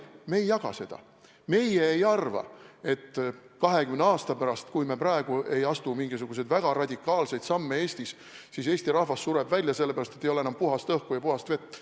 Meie ei jaga seda, meie ei arva, et 20 aasta pärast, kui me praegu ei astu mingisuguseid väga radikaalseid samme Eestis, siis Eesti rahvas sureb välja, sellepärast et ei ole enam puhast õhku ja puhast vett.